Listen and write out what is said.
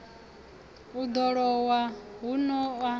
u ḓo lowa huno a